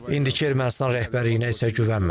İndiki Ermənistan rəhbərliyinə isə güvənmirəm.